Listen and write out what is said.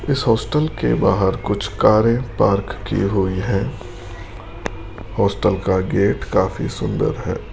इस हॉस्टल के बाहर कुछ कारें पार्क की हुई है हॉस्टल का गेट काफी सुंदर है।